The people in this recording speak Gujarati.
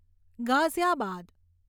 ગાઝિયાબાદ